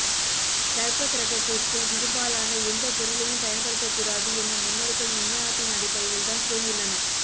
கர்ப்பக்கிரகத்திற்குள் இரும்பாலான எந்த பொருளையும் பயன்படுத்த கூடாது என முன்னோர்கள் விஞ்ஞானத்தின் அடிப்படையில் தான் கூறியுள்ளனர்